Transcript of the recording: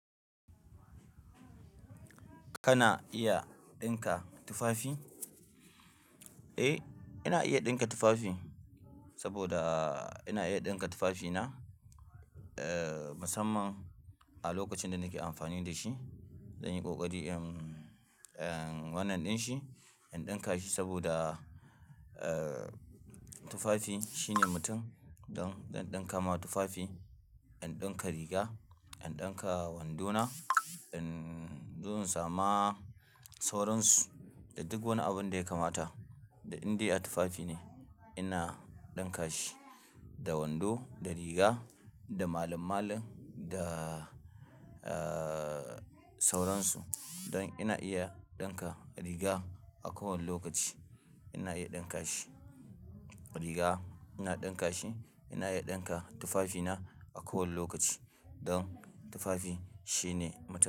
Kana iya ɗinka tufafi? Eh, ina iya ɗinka tufafi saboda ina iya ɗinka tufafi na, eh, musamman a lokacin da nake amfani da shi. Zanyi ƙoƙari in, eh, wannan ɗin shi, in ɗinka shi saboda, eh, tufafi shine mutum. Don, zan ɗinka ma tufafi, in ɗinka riga, in ɗinka wando na, in, zo in sama sauran su da duk wani abu da ya kamata. Da indai a tufafi ne ina ɗinka shi, da wando, da riga, da malum-malum, da, eh, sauransu. Don ina iya ɗinka riga a kowane lokaci ina iya ɗinka shi. Riga ina ɗinka shi, ina iya ɗinka tufafi na a kowane lokaci don tufafi shine mutum.